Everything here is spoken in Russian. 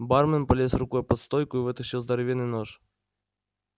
бармен полез рукой под стойку и вытащил здоровенный нож